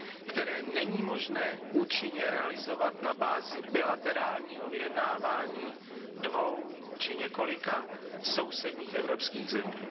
které není možné účinně realizovat na bázi bilaterálního vyjednávání dvou či několika sousedních evropských zemí.